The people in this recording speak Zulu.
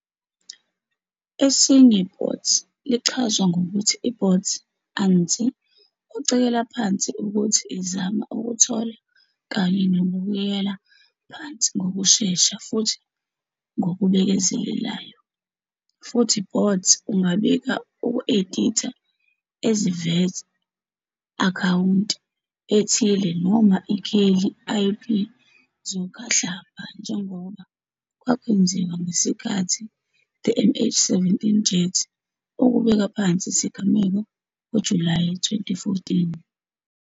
Esinye bot lichazwa ngokuthi i bot anti-ocekela phansi ukuthi izama ukuthola kanye nokubuyela phansi ngokushesha futhi ngokuzenzakalelayo. futhi Bots ungabika uku-editha ezivela akhawunti ethile noma ikheli IP zokhahlamba njengoba kwakwenziwa ngesikhathi the MH17 jet ukubeka phansi isigameko ngoJulayi 2014.